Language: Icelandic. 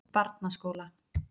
Barnaskóla